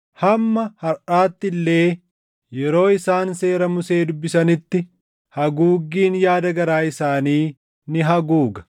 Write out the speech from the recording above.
Hamma harʼaatti illee yeroo isaan seera Musee dubbisanitti haguuggiin yaada garaa isaanii ni haguuga.